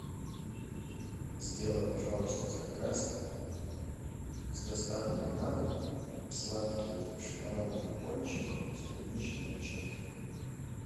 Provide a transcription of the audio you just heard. сделай пожалуйста заказ с доставкой на дом сладкие шоколадные пончики с клубничной начинкой